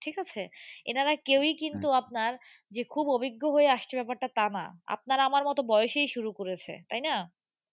ঠিক আছে। এনারা কেউই কিন্তু আপনার যে খুব অভিজ্ঞ হয়ে আসছে ব্যাপারটা তা না। আপনার আমার মতো বয়সেই শুরু করেছে, তাই না?